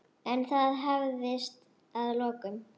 En það hafðist að lokum.